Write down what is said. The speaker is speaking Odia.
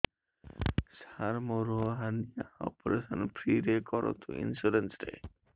ସାର ମୋର ହାରନିଆ ଅପେରସନ ଫ୍ରି ରେ କରନ୍ତୁ ଇନ୍ସୁରେନ୍ସ ରେ